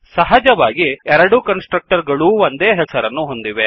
ಸಹಜವಾಗಿ ಎರಡೂ constructor ಗಳೂ ಒಂದೇ ಹೆಸರನ್ನು ಹೊಂದಿವೆ